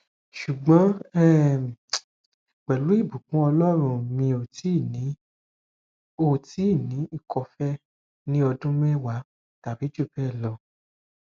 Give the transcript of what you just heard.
ṣugbọn um pelu ibukun ọlọrun mi o ti ni o ti ni ikọfèé ni ọdun mẹwa tabi ju bẹẹ lọ